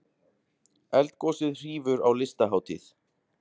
Eldgosið hrífur á Listahátíð